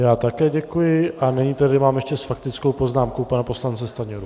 Já také děkuji a nyní tady mám ještě s faktickou poznámkou pana poslance Stanjuru.